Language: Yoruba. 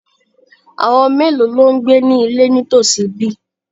Àwọn mélòó ló ń gbé ní ilé nítòsí ibí?